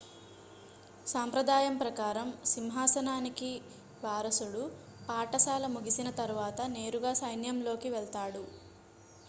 సాంప్రదాయం ప్రకారం సింహాసనానికి వారసుడు పాఠశాల ముగిసిన తరువాత నేరుగా సైన్యంలోకి వెళ్తాడు